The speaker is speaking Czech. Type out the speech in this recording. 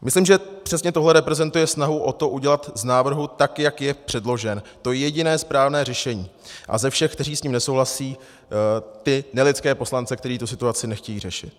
Myslím, že přesně tohle reprezentuje snahu o to udělat z návrhu, tak jak je předložen, to jediné správné řešení a ze všech, kteří s ním nesouhlasí, ty nelidské poslance, kteří tu situaci nechtějí řešit.